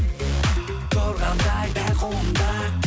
тұрғандай дәл қолымда